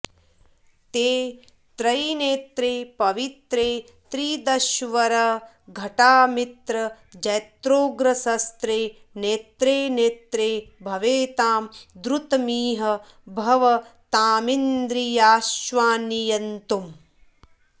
ते त्रैनेत्रे पवित्रे त्रिदशवरघटामित्रजैत्रोग्रशस्त्रे नेत्रे नेत्रे भवेतां द्रुतमिह भवतामिन्द्रियाश्वान्नियन्तुम्